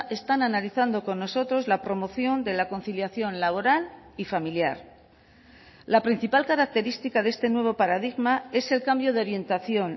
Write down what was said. están analizando con nosotros la promoción de la conciliación laboral y familiar la principal característica de este nuevo paradigma es el cambio de orientación